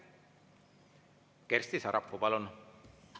Kersti Sarapuu, palun!